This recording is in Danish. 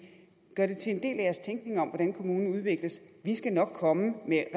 gør det til en del af jeres tænkning om hvordan kommunen udvikles vi skal nok komme med